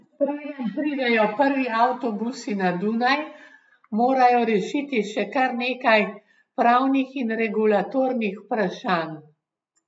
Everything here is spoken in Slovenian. Preden pridejo prvi avtobusi na Dunaj, morajo rešiti še kar nekaj pravnih in regulatornih vprašanj.